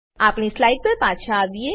આપણી સ્લાઈડ પર પાછા આવીએ